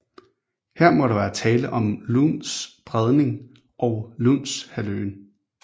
Her må der være tale om Louns Bredning og Lounshalvøen